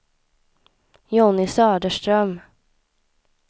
Jonny Söderström